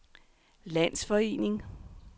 landsforening